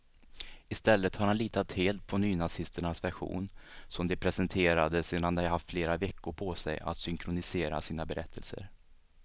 I stället har han litat helt på nynazisternas version, som de presenterade sedan de haft flera veckor på sig att synkronisera sina berättelser.